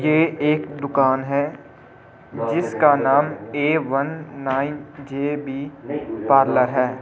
ये एक दुकान है जिसका नाम A one nine J B parlour है।